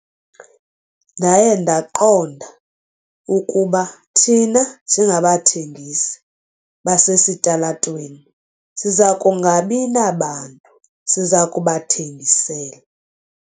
Ndaye ndaqonda ukuba thina njengabathengisi basesitalatweni siza kungabi nabantu siza kubathengisela.